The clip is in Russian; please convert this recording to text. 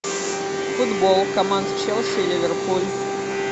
футбол команд челси ливерпуль